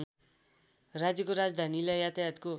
राज्यको राजधानीलाई यातायातको